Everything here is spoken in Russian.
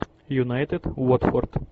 юнайтед уотфорд